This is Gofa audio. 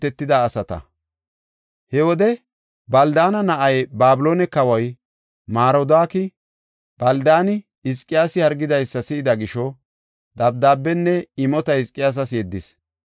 He wode Baldaana na7ay, Babiloone kawoy, Marodaaki Baldaani Hizqiyaasi hargidaysa si7ida gisho, dabdaabenne imota Hizqiyaasas yeddis.